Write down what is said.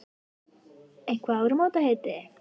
Eitthvert áramótaheiti?